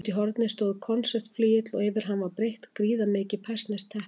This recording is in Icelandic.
Úti í horni stóð konsertflygill og yfir hann var breitt gríðarmikið persneskt teppi.